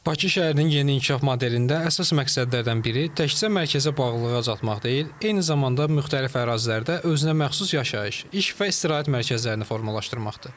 Bakı şəhərinin yeni inkişaf modelində əsas məqsədlərdən biri təkcə mərkəzə bağlılığı azaltmaq deyil, eyni zamanda müxtəlif ərazilərdə özünəməxsus yaşayış, iş və istirahət mərkəzlərini formalaşdırmaqdır.